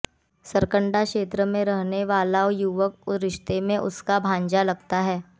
सरकंडा क्षेत्र में रहने वाला युवक रिश्ते में उसका भानजा लगता है